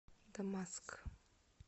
дамаск